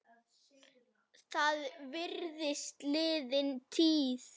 Það virðist liðin tíð.